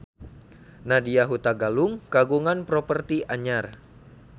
Nadya Hutagalung kagungan properti anyar